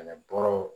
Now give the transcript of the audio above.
Ani bɔrɔw